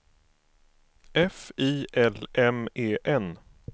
F I L M E N